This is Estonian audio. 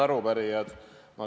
Head arupärijad!